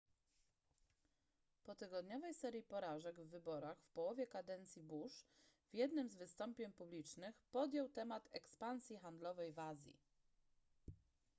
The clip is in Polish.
po tygodniowej serii porażek w wyborach w połowie kadencji bush w jednym z wystąpień publicznych podjął temat ekspansji handlowej w azji